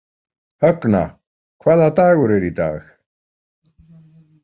Högna, hvaða dagur er í dag?